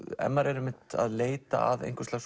ef maður er að leita að einhvers lags